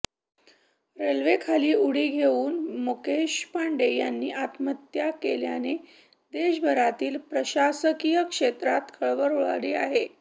रेल्वेखाली उडी घेऊन मुकेश पांडे यांनी आत्महत्या केल्याने देशभरातील प्रशासकीय क्षेत्रात खळबळ उडाली आहे